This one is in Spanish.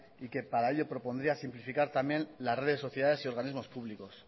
y que para ello propondría simplificar también la red de sociedades y organismos públicos